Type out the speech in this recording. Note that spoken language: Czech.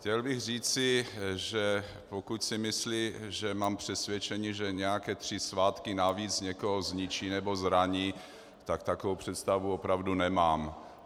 Chtěl bych říci, že pokud si myslí, že mám přesvědčení, že nějaké tři svátky navíc někoho zničí nebo zraní, tak takovou představu opravdu nemám.